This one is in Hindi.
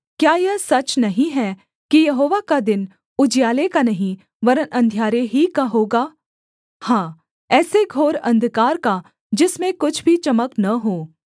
क्या यह सच नहीं है कि यहोवा का दिन उजियाले का नहीं वरन् अंधियारे ही का होगा हाँ ऐसे घोर अंधकार का जिसमें कुछ भी चमक न हो